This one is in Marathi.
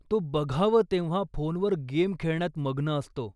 तो बघावं तेव्हा फोन वर गेम खेळण्यात मग्न असतो.